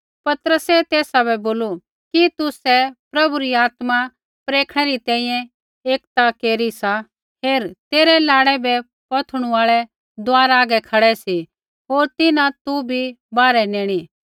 पतरसै तेसा बै बोलू कि तुसै प्रभु री आत्मा परखणै री तैंईंयैं एक ता केरी सा हेर तेरै लाड़ै बै पौथणू आल़ै दुआरा हागै खड़ै सी होर तिन्हां तू बी बाहरै नेईणी